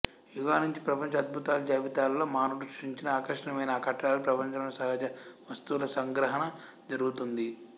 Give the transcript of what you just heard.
యుగాల నుంచి ప్రపంచ అద్భుతాల జాబితాలలో మానవుడు సృష్టించిన ఆకర్షణీయమైన కట్టడాలు ప్రపంచంలోని సహజ వస్తువుల సంగ్రహణ జరుగుతోంది